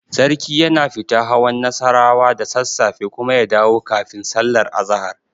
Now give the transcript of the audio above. Sarki yana fita hawan Nassarawa da sassafe kuma ya dawo kafin sallar azahar.